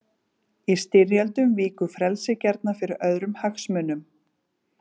Í styrjöldum víkur frelsið gjarnan fyrir öðrum hagsmunum.